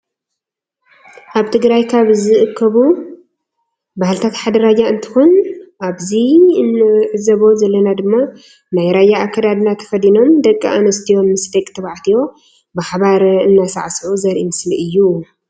አብ ትግራይ ካብ ዝብከቡ ባህልታት ሓደ ራያ እንትኮን አብዚ እንዕዞቦ ዘለና ድማ ናይ ራያ አከዳድና ተከዲኖም ደቂ አንስትዩ ምስ ድቂ ተባዕትዩ ብሓባረ እናሳዕሱዑ ዘሪኢ ምስሊ እዩ።